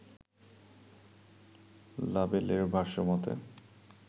লাবেলের ভাষ্য মতে